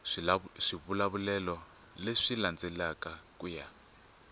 swivulavulelo leswi landzelaka ku ya